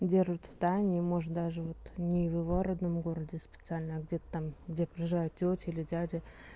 держит в тайне и может даже вот не в его родном городе специально а где-то там где проживают тётя или дядя